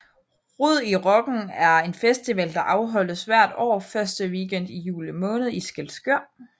Rod i Rocken er en festival der afholdes hvert år første weekend i juli måned i Skælskør